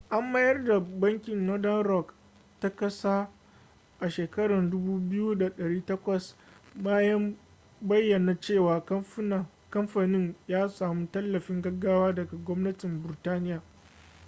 an mayar da bankin northern rock ta kasa a shekara 2008 bayan bayyana cewa kamfanin ya samu tallafin gaggawa daga gwamnatin burtaniya